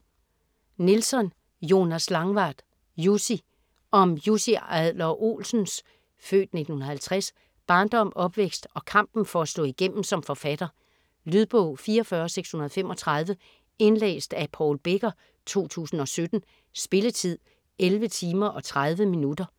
Nilsson, Jonas Langvad: Jussi Om Jussi Adler-Olsens (f. 1950) barndom, opvækst og kampen for at slå igennem som forfatter. Lydbog 44635 Indlæst af Paul Becker, 2017. Spilletid: 11 timer, 30 minutter.